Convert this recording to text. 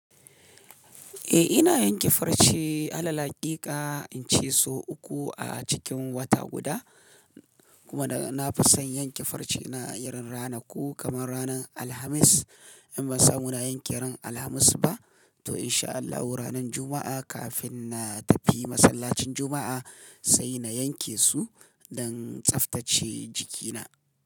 Eh ina yin ke farce, alal hakika in ce sau uku a cikin wata guda. Kuma da na fi son yin ke farce na a yaren rana ko kamar ranan Alhamis. In ban samu na yanke ran Alhamis ba, to in sha Allahu ranan Juma'a kafin na tafi masallacin Juma'a, sai na yanke su don tsaftace jikina.